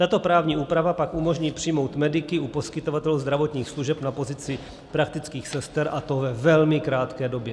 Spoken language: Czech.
Tato právní úprava pak umožní přijmout mediky u poskytovatelů zdravotních služeb na pozici praktických sester, a to ve velmi krátké době.